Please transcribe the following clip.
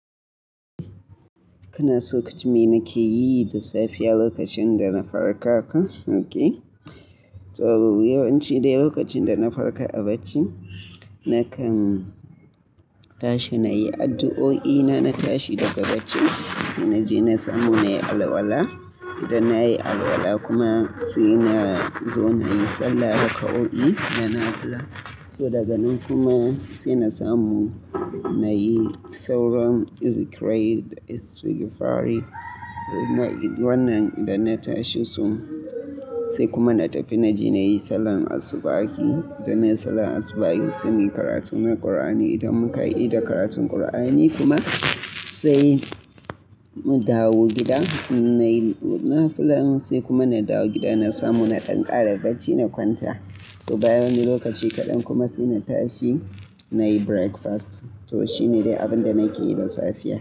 Kuna so ku ji me nake yi da safiya lokacin da na farka ka? OK. To yawanci dai lokacin da na farka a bacci, nakan tashi nayi addu'o'ina, na tashi daga bacci sai naje na samu nayi alwala. Idan nayi alwala kuma sai na zo nayi sallah da kau'i na nafula. So daga nan kuma sai na samu nayi sauran zikirai da istigfari. Wannan idan na tashi su, sai kuma na tafi na je nayi sallar asubahi. Idan nayi sallar asubahi sai muyi karatu na Kur'ani. Idan muka ida karatun Kur'ani kuma sai mu dawo gida nayi nafula. Sai kuma na dawo gida na samu na ɗan kara bacci na kwanta. To bayan wani lokaci kaɗan kuma sai na tashi nayi breakfast. To shine dai abin da nake yi da safiya.